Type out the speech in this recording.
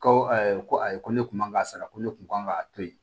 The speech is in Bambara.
Ko ko ayi ko ne kun man ka sara ko ne kun kan ka to yen